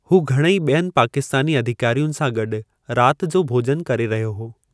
हू घणेई बि॒यनि पाकिस्तानी अधिकारियुनि सां गॾु राति जो भोज॒नु करे रहियो हो।